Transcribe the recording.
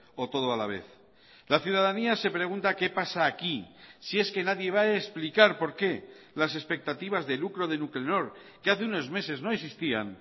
o todo a la vez la ciudadanía se pregunta qué pasa aquí si es que nadie va a explicar por qué las expectativas de lucro de nuclenor que hace unos meses no existían